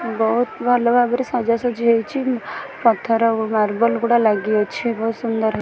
ବହୁତ୍ ଭଲ ଭାବରେ ସଜା ସଜି ହେଇଛି ଉ ପଥର ମାର୍ବଲ୍ ଗୁଡ଼ାକ ଲାଗିଅଛି ବହୁତ୍ ସୁନ୍ଦର--